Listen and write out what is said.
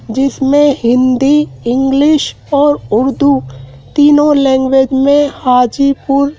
जिसमें हिंदी इंग्लिश और उर्दू तीनों लैंग्वेज में हाजीपुर--